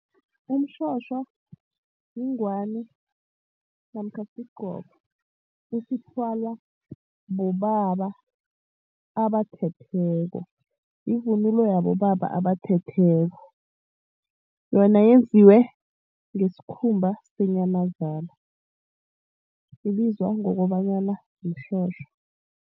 Umtjhotjho yingwani namkha sigqoko esithwalwa bobaba abathetheko. Yivunulo yabobaba abathetheko. Yona yenziwe ngesikhumba senyamazana, ibizwa ngokobana mtjhotjho.